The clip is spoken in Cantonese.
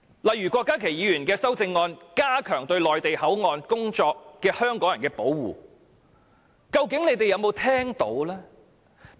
例如郭家麒議員的修正案，旨在加強對在內地口岸工作的香港人的保護，究竟政府有沒有聽到這點。